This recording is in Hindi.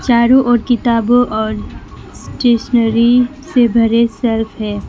चारों ओर किताबों और स्टेशनरी से भरे हुए शेल्फ है।